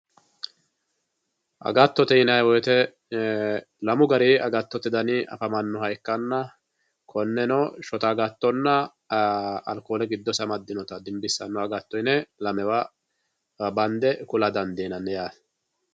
Agattotte yinayi woyite lamu dani agattotte dani afamanoha ikkanna konenko shotta agattonna alikole gidose amadinotta dimbisanno agatto yine lamewa bande kula dandinanni yaate